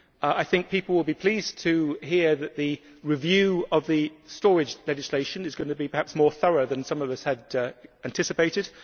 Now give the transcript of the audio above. I think people will be pleased to hear that the review of the storage legislation is likely to be more thorough than some of us had anticipated.